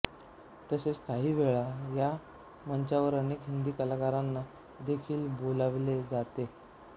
तसेच काहीवेळा या मंचावर अनेक हिंदी कलाकारांना देखील बोलावले जाते